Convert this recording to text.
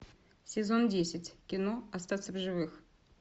сезон десять кино остаться в живых